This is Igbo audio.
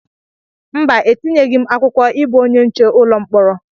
Mba, etinyeghị m akwụkwọ ịbụ onye nche ụlọ mkpọrọ.